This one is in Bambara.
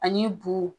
Ani bo